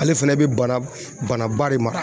Ale fɛnɛ bɛ bana bana bana ba de mara.